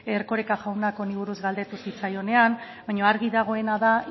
erkoreka jaunak honi buruz galdetu zitzaionean baina argi dagoena da